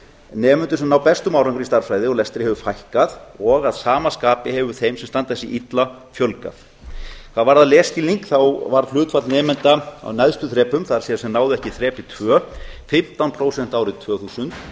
nemendur sem ná bestum árangri í stærðfræði og lestri hefur fækkað og að sama skapi hefur þeim sem standa sig illa fjölgað hvað varðar lesskilning varð hlutfall nemenda á neðstu þrepum það er sem náðu ekki þrepi tvö fimmtán prósent árið tvö þúsund